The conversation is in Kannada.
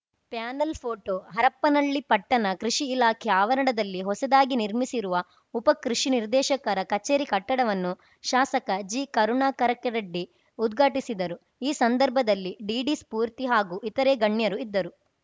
ಪ್ಯಾನೆಲ್‌ ಫೋಟೋ ಹರಪ್ಪನಹಳ್ಳಿ ಪಟ್ಟಣದ ಕೃಷಿ ಇಲಾಖೆ ಆವರಣದಲ್ಲಿ ಹೊಸದಾಗಿ ನಿರ್ಮಿಸಿರುವ ಉಪ ಕೃಷಿ ನಿರ್ದೇಶಕರ ಕಚೇರಿ ಕಟ್ಟಡವನ್ನು ಶಾಸಕ ಜಿಕರುಣಾಕರಕರೆಡ್ಡಿ ಉದ್ಘಾಟಿಸಿದರು ಈ ಸಂದರ್ಭದಲ್ಲಿ ಡಿಡಿ ಸ್ಫೂರ್ತಿ ಹಾಗೂ ಇತರೇ ಗಣ್ಯರು ಇದ್ದರು